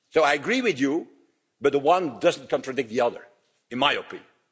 So I agree with you, but the one doesn't contradict the other, in my opinion.